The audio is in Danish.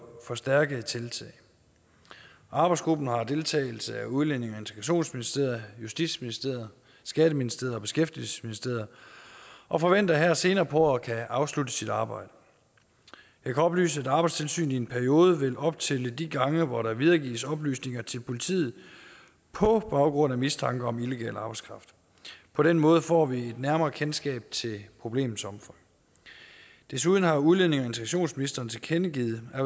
forstærkede tiltag arbejdsgruppen har deltagelse af udlændinge og integrationsministeriet justitsministeriet skatteministeriet og beskæftigelsesministeriet og forventer her senere på året at kunne afslutte sit arbejde jeg kan oplyse at arbejdstilsynet i en periode vil optælle de gange hvor der videregives oplysninger til politiet på baggrund af mistanke om illegal arbejdskraft på den måde får vi et nærmere kendskab til problemets omfang desuden har udlændinge og integrationsministeren tilkendegivet at